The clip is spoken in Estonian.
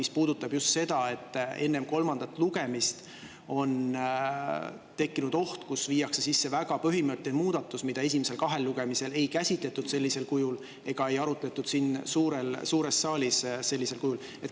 See puudutab just seda, et enne kolmandat lugemist on tekkinud oht, et viiakse sisse väga põhimõtteline muudatus, mida esimesel kahel lugemisel ei käsitletud ega arutletud siin suures saalis sellisel kujul.